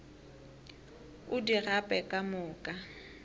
o di gape ka moka